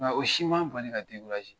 Nka o si ma n bali ka